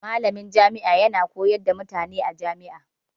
Malamin majami'a yana koyar da mutane a majami'a.